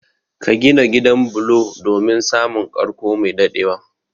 Ka gina gidan bulo domin samun karko mai dadewa